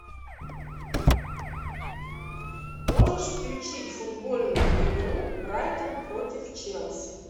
можешь включить футбольную игру брайтон против челси